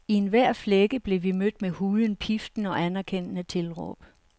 I enhver flække blev vi mødt med hujen, piften og anerkendende tilråb.